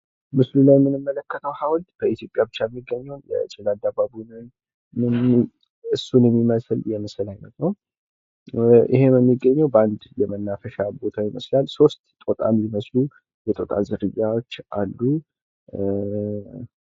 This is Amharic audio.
ምስሉ ላይ የምንመለከተው ሐውልት በኢትዮጵያ ብቻ የሚገኘውን ጭላዳ ባቡንን እሱን የሚመስል የምስል አይነት ነው። ይህም የሚገኘው በአንድ የመናፈሻ ቦታ ይመስላል። ሶስት ስጦታ የሚመስሉ የጦር ዝርያዎች አሉ።